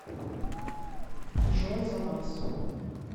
джой за вас